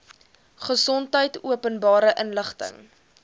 gesondheid openbare inligting